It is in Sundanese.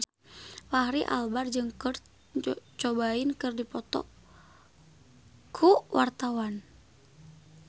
Fachri Albar jeung Kurt Cobain keur dipoto ku wartawan